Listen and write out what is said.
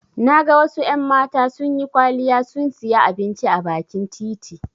Na ga wasu en mata sunyi kwaliya sun siya abinci a bakin titi